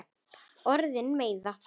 Orðin meiða.